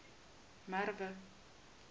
merwe